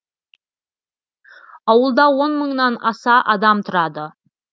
ауылда он мыңнан аса адам тұрады